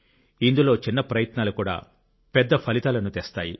ఇందులో చిన్న ప్రయత్నాలు కూడా పెద్ద ఫలితాలను తెస్తాయి